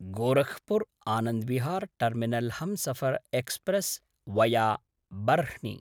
Gorakhpur Anand Vihar terminal Humsafar express via Barhni